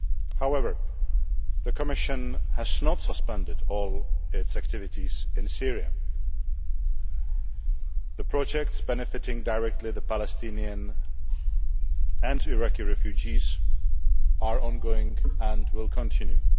However, the Commission has not suspended all its activities in Syria. The projects directly benefiting the Palestinian and Iraqi refugees are ongoing and will continue.